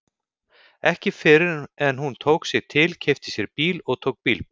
Ekki fyrr en hún tók sig til, keypti sér bíl og tók bílpróf.